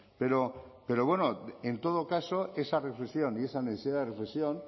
pero en todo caso esa reflexión y esa necesidad de reflexión